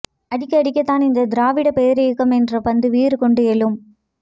அடிக்க அடிக்கத்தான் இந்த திராவிடப் பேரியக்கம் என்ற பந்து வீறுகொண்டு எழும்